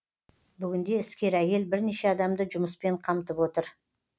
бүгінде іскер әйел бірнеше адамды жұмыспен қамтып отыр